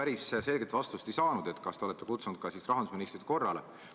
Ega ma päris selget vastust ei saanud, kas te olete rahandusministrit korrale kutsunud.